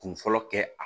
Kun fɔlɔ kɛ a